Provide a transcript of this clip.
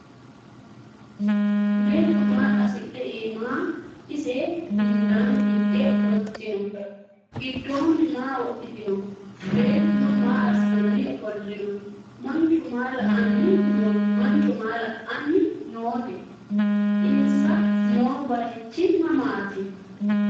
Beetto maa qasidhe iimma ise hundaanni higge ofolittinno? Gidoonni maa wodhittinno? Beettunno maa assanni ofolinno? Mancho maa la'anni nootte? Insa noo bayiichchi mamaatti?